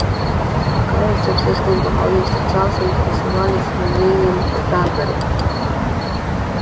кажется всё с кем бы гаал ни встречался интересовались его мнением о транторе